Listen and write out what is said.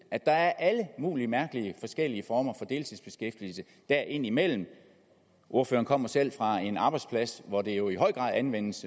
at der er alle mulige mærkelige forskellige former for deltidsbeskæftigelse der indimellem ordføreren kommer selv fra en arbejdsplads hvor det jo i høj grad anvendes